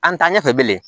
An ta ɲɛfɛ bilen